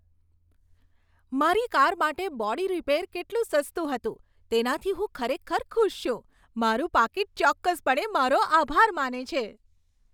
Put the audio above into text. મારી કાર માટે body repair કેટલું સસ્તું હતું તેનાથી હું ખરેખર ખુશ છું, મારું પાકીટ ચોક્કસપણે મારો આભાર માને છે!